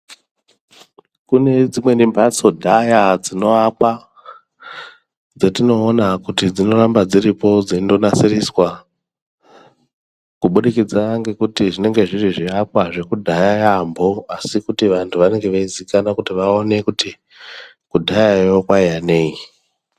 Kune dzimweni mbhatso dhaya dzinoakwa dzetinoona kuti dzinoramba dziripo dzeindonasiriswa kubudikidza ngekuti zvinenge zviri zviakwa zvekudhaya yampho asi kuti vantu vanenge veizikanwa kuti vaone kuti kudhyayo kwaiya nei.